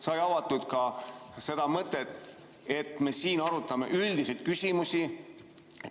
Sai avatud ka seda mõtet, et me siin arutame üldiseid küsimusi.